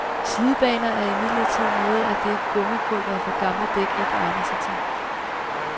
Slidbaner er imidlertid noget af det, gummipulveret fra gamle dæk ikke egner sig til.